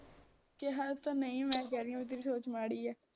ਕਿਹਾ ਤਾਂ ਨਹੀਂ ਮੈ ਕਹਿ ਰਹੀ ਆ ਬਈ ਤੇਰੀ ਸੋਚ ਮਾੜੀ ਆ